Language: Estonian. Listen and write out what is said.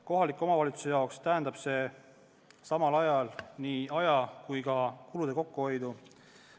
Kohaliku omavalitsuse jaoks tähendab see nii aja kui ka kulude kokkuhoidu.